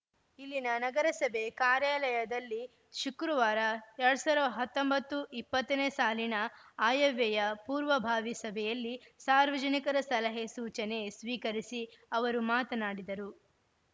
ಇಲ್ಲಿನ ನಗರಸಭೆ ಕಾರ್ಯಾಲಯದಲ್ಲಿ ಶುಕ್ರವಾರ ಎರಡ್ ಸಾವಿರದ ಹತ್ತೊಂಬತ್ತು ಇಪ್ಪತ್ತು ನೇ ಸಾಲಿನ ಆಯವ್ಯಯ ಪೂರ್ವಭಾವಿ ಸಭೆಯಲ್ಲಿ ಸಾರ್ವಜನಿಕರ ಸಲಹೆ ಸೂಚನೆ ಸ್ವೀಕರಿಸಿ ಅವರು ಮಾತನಾಡಿದರು